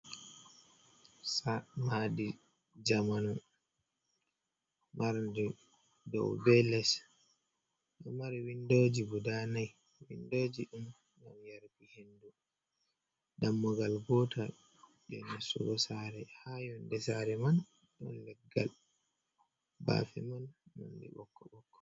Maadi zamanu marndi dow be les, ɗo mari windoji guda nai, windoji ɗum ɗon yarbi hendu dammugal bota je nastugo sare. ha yonde sare man don leggal bafe man nandi bokko bokko.